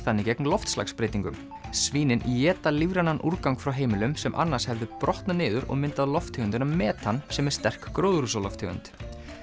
þannig gegn loftslagsbreytingum svínin éta lífrænan úrgang frá heimilum sem annars hefði brotnað niður og myndað lofttegundina metan sem er sterk gróðurhúsalofttegund